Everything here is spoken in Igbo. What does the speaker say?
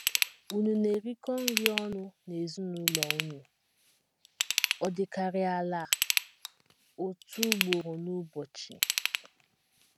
ÙNU na - erikọ nri ọnụ n’ezinụlọ unu, ọ dịkarịa ala, otu ugboro n’ụbọchị?